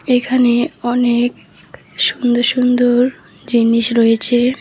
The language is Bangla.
এখানে অনেক সুন্দর সুন্দর জিনিস রয়েছে।